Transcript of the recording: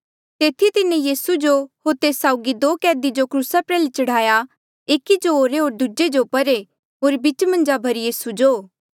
तेथी तिन्हें यीसू जो होर तेस साउगी दो कैदी जो क्रूसा प्रयाल्हे चढ़ाया एकी जो ओरे होर दूजे जो परे होर बीचा मन्झ यीसू जो